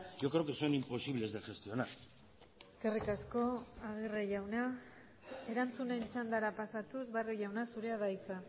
yo creo que son imposibles de gestionar eskerrik asko agirre jauna erantzunen txandara pasatuz barrio jauna zurea da hitza